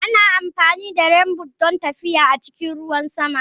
Ana amfani da Rainboot don tafiya a cikin ruwan sama.